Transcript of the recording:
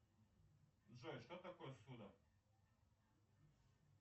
джой что такое ссуда